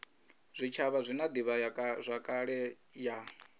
zwitshavha zwi na divhazwakale ya